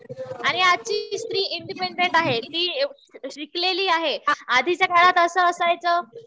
आणि आजची स्त्री इंडिपेंडेंट आहे. ती शिकलेली आहे. आधीच्या काळात असं असायचं